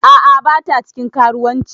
A'a bata cikin karuwanci.